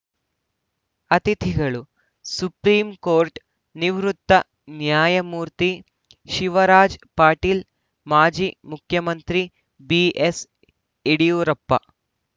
ಅತಿಥಿಗಳು ಸುಪ್ರೀಕೋರ್ ನಿವೃತ್ತ ನ್ಯಾಯಮೂರ್ತಿ ಶಿವರಾಜ ಪಾಟೀಲ್‌ ಮಾಜಿ ಮುಖ್ಯಮಂತ್ರಿ ಬಿಎಸ್‌ಯಡಿಯೂರಪ್ಪ